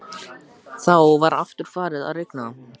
Þá var aftur farið að rigna.